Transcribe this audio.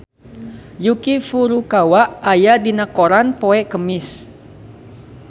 Yuki Furukawa aya dina koran poe Kemis